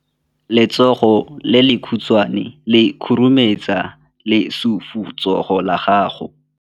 Letsogo le lekhutshwane le khurumetsa lesufutsogo la gago.